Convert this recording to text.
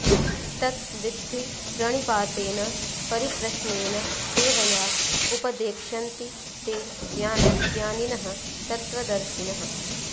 तत् विद्धि प्रणिपातेन परिप्रश्नेन सेवया उपदेक्ष्यन्ति ते ज्ञानं ज्ञानिनः तत्त्वदर्शिनः